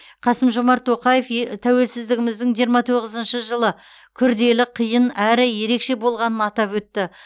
қасым жомарт тоқаев тәуелсіздігіміздің жиырма тоғызыншы жылы күрделі қиын әрі ерекше болғанын атап өтті